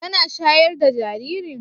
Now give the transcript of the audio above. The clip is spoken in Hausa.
Kana shayar da jaririn?